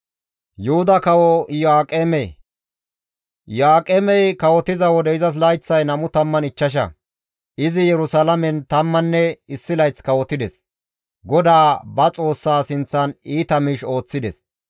Iyo7aaqemey kawotiza wode izas layththay 25; izi Yerusalaamen tammanne issi layth kawotides; GODAA ba Xoossaa sinththan iita miish ooththides.